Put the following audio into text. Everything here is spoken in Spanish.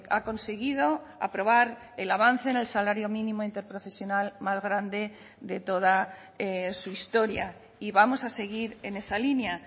ha conseguido aprobar el avance en el salario mínimo interprofesional más grande de toda su historia y vamos a seguir en esa línea